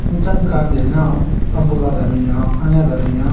Nchenyu kan jwen nyon abola da binyon anya da binyon.